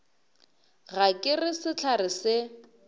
ga ke re sehlare se